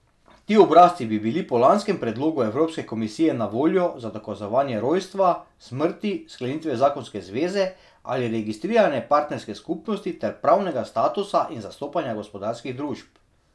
Ti obrazci bi bili po lanskem predlogu evropske komisije na voljo za dokazovanje rojstva, smrti, sklenitve zakonske zveze ali registrirane partnerske skupnosti ter pravnega statusa in zastopanja gospodarskih družb.